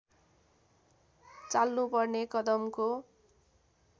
चाल्नुपर्ने कदमको